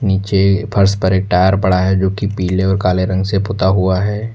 नीचे फर्श पर एक टायर पड़ा है जो की पीले और काले रंग से पुता हुआ है।